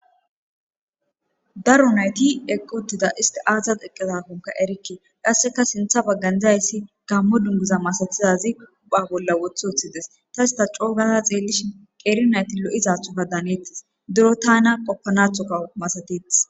Daro nayti eqqotida isti aazat eqqezakonka erikke qasseka sintha baggandzazayssi gammo dunguza masatizazi uba bolla wothi ooththides ta ista coogaza xeellishi qeeri nayti lo'izathofa daanettis duro tana qoppanathoka masateth.